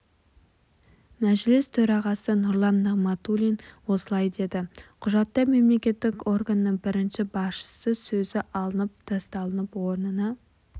мәжіліс төрағасы нұрлан нығматулин осылай деді құжатта мемлекеттік органның бірінші басшысы сөзі алынып тасталып орнына